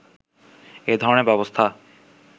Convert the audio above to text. এই ধরনের ব্যবস্থা